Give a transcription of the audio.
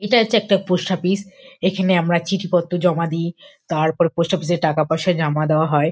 এটা হচ্ছে একটা পোস্ট অফিস এখানে আমরা চিঠি পত্র জমা দিই তারপর পোস্ট অফিস - এ টাকা পয়সা জমা দেওয়া হয়।